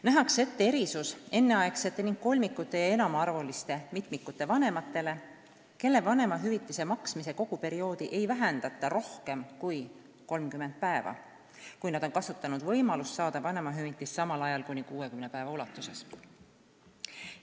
Nähakse ette erisus enneaegsete ning kolmikute ja enamaarvuliste mitmikute vanematele, kelle vanemahüvitise maksmise koguperioodi ei vähendata rohkem kui 30 päeva, kui nad on kasutanud võimalust saada vanemahüvitist samal ajal kuni 60 päeva ulatuses.